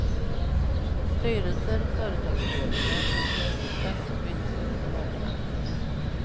Styrelser och företagsledningar som misslyckas byts ut av ägarna.